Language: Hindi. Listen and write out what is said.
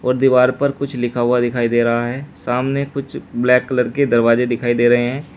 और दीवार पर कुछ लिखा हुआ दिखाई दे रहा है सामने कुछ ब्लैक कलर के दरवाजे दिखाई दे रहे हैं।